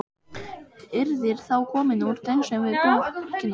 Yrðir þá komin úr tengslum við borgina.